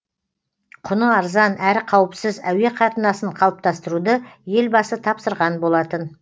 құны арзан әрі қауіпсіз әуе қатынасын қалыптастыруды елбасы тапсырған болатын